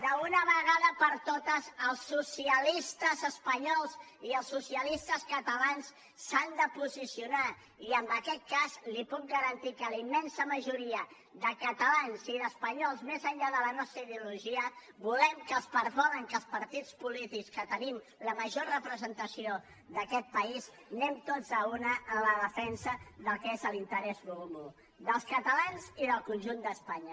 d’una vegada per totes els socialistes espanyols i els socialistes catalans s’han de posicionar i en aquest cas li puc garantir que la immensa majoria de catalans i d’espanyols més enllà de la nostra ideologia volen que els partits polítics que tenim la major representació d’aquest país anem tots a una en la defensa del que és l’interès comú dels catalans i del conjunt d’espanya